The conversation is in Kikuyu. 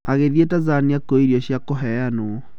Agĩthiĩ Tanzania kuoya irio cia kũheyanwo.